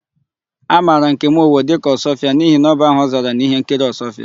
A mara Nkem Owo dịka Ọsụọfịa n'ihi na ọ bụ aha ọ zara n'íhénkiri Ọsụọfịa.